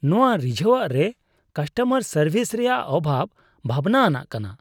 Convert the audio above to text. ᱱᱚᱶᱟ ᱨᱤᱡᱷᱟᱹᱣᱟᱜ ᱨᱮ ᱠᱟᱥᱴᱚᱢᱟᱨ ᱥᱟᱨᱵᱷᱤᱥ ᱨᱮᱭᱟᱜ ᱚᱵᱷᱟᱵ ᱵᱷᱟᱵᱽᱱᱟ ᱟᱱᱟᱜ ᱠᱟᱱᱟ ᱾